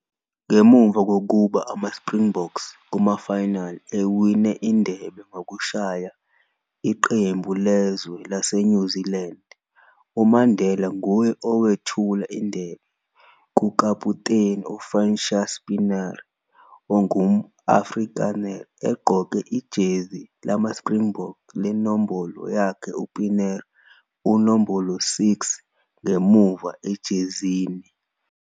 Ngemuva kokuba ama-Springboks kuma-final ewine indebe ngokushaya iqemu lezwe lase-New Zealand, UMandela nguwe owethula indebe, kukaputeni, u-Francois Pienaar, ongumu-Afrikaner, egqoke ijezi lama-Springbok lenombolo yakhe u-Pienaar unombolo 6 ngemuva ejezini.